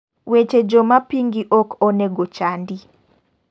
weche joma pingi ok onego chandi